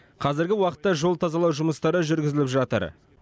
қазіргі уақытта жол тазалау жұмыстары жүргізіліп жатыр